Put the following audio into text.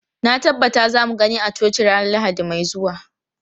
Na tabbata za mu gani a coci ranar Lahadi mai zuwa.